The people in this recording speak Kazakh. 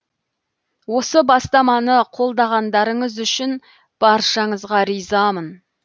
осы бастаманы қолдағандарыңыз үшін баршаңызға ризамын